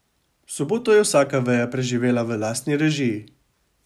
Soboto je vsaka veja preživela v lastni režiji.